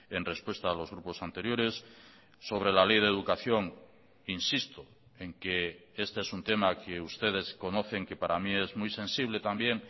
en respuesta a los grupos anteriores sobre la ley de educación insisto en que este es un tema que ustedes conocen que para mí es muy sensible también